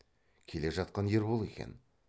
келе жатқан ербол екен